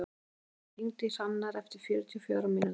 Ástrún, hringdu í Hrannar eftir fjörutíu og fjórar mínútur.